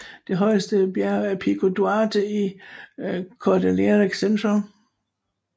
Det højeste bjerg er Pico Duarte i Cordillera Central